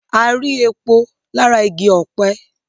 a rí epo lára igi ọ̀pẹ